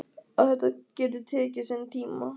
Að þetta geti tekið sinn tíma.